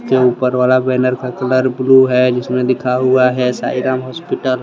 के ऊपर वाला बैनर का कलर ब्लू है जिसमें लिखा हुआ है साइ राम हॉस्पिटल ।